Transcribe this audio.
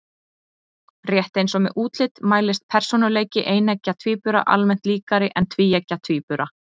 Rétt eins og með útlit mælist persónuleiki eineggja tvíbura almennt líkari en tvíeggja tvíbura.